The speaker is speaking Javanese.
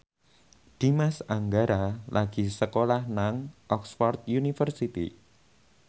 Dimas Anggara lagi sekolah nang Oxford university